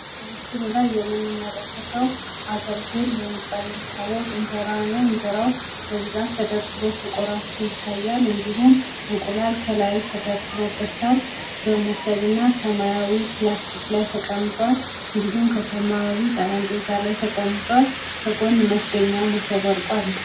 በምስሉ ላይ የምንመለከተው አገልግል በመባል የሚታወቀው እንጀራ ነው። እንጀራው በብዛት ተደርድሮ ተቆራርሶ ይታያል። እንድሁም እንቁላል ከላይ ተደርድሮበታል። ሲሆን በብዛት ተደድሮ ይታያል እንቁላል ከላይ ተደርድሮበታል መሶብና ሰማያዊ ላስቲክ ላይ ተቀምጧል እንድሁም ሰማያዊ ጠረጴዛ ላይ ተቀምጧል። ከጎን መክደኛ መሶብ ወድቆ አለ።